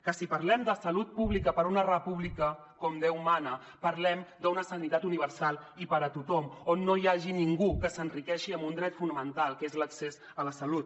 que si parlem de salut pública per a una república com déu mana parlem d’una sanitat universal i per a tothom on no hi hagi ningú que s’enriqueixi amb un dret fonamental que és l’accés a la salut